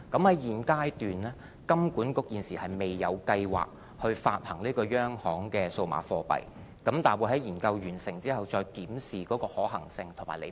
在現階段，金管局現時未有計劃發行央行的數碼貨幣，但會在研究完成後，再檢視有關方面的可行性和利弊。